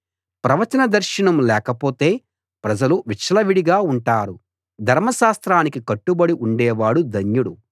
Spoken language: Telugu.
ప్రవచన దర్శనం లేకపోతే ప్రజలు విచ్చలవిడిగా ఉంటారు ధర్మశాస్త్రానికి కట్టుబడి ఉండే వాడు ధన్యుడు